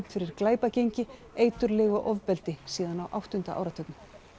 fyrir glæpagengi eiturlyf og ofbeldi síðan á áttunda áratugnum